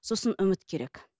сосын үміт керек